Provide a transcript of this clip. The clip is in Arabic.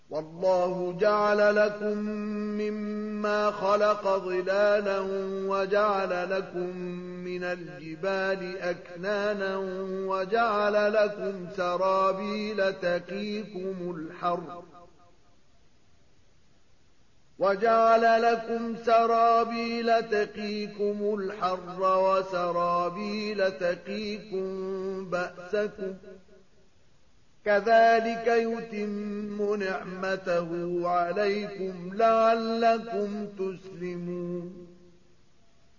وَاللَّهُ جَعَلَ لَكُم مِّمَّا خَلَقَ ظِلَالًا وَجَعَلَ لَكُم مِّنَ الْجِبَالِ أَكْنَانًا وَجَعَلَ لَكُمْ سَرَابِيلَ تَقِيكُمُ الْحَرَّ وَسَرَابِيلَ تَقِيكُم بَأْسَكُمْ ۚ كَذَٰلِكَ يُتِمُّ نِعْمَتَهُ عَلَيْكُمْ لَعَلَّكُمْ تُسْلِمُونَ